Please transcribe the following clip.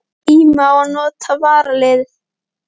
Tími á að nota varaliðið?